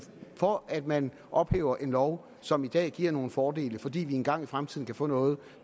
for at man ophæver en lov som i dag giver nogle fordele fordi vi engang i fremtiden kan få noget